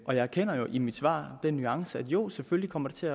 og jeg erkender jo i mit svar den nuance at det jo selvfølgelig kommer til